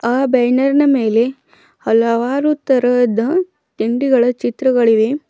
ಆ ಬ್ಯಾನರ್ನ ಮೇಲೆ ಹಲವಾರು ತರಹದ ತಿಂಡಿಗಳ ಚಿತ್ರಗಳಿವೆ.